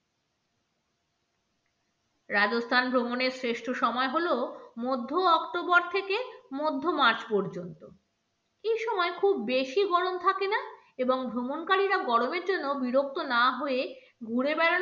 রাজস্থান ভ্রমণের শ্রেষ্ঠ সময় হল মধ্য october থেকে মধ্য march পর্যন্ত, এই সময় খুব বেশি গরম থাকে না এবং ভ্রমণকারী রা গরমের জন্য বিরক্ত না হয়ে ঘুরে বেড়ানো,